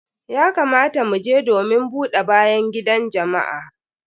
Ya kamata mu je domin buɗe bayan gidan jama'a.